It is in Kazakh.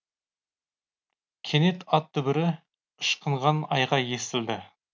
кенет ат дүбірі ышқынған айғай естілді